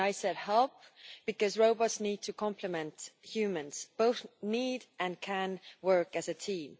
I said helping' because robots need to compliment humans both need to, and can, work as a team.